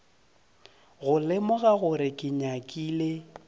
go lemoga gore ke nyakile